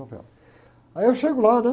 novela. Aí eu chego lá, né?